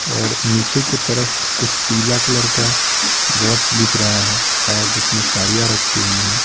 और नीचे की तरफ कुछ पीला कलर का बॉक्स दिख रहा हैशायद जिसमें साड़ियां रखी हुई हैं।